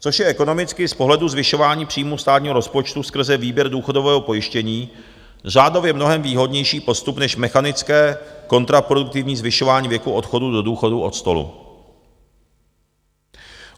Což je ekonomicky z pohledu zvyšování příjmů státního rozpočtu skrze výběr důchodového pojištění řádově mnohem výhodnější postup, než mechanické kontraproduktivní zvyšování věku odchodu do důchodu od stolu.